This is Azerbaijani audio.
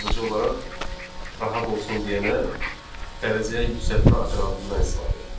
sadəcə olaraq rahat olsun deyənə dərəcəyə yüksəltmə operatından istifadə edirlər.